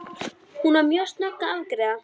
Hún var mjög snögg að afgreiða.